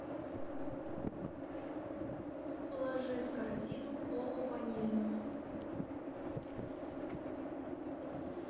положи в корзину колу ванильную